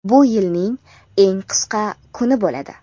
Bu yilning eng qisqa kuni bo‘ladi.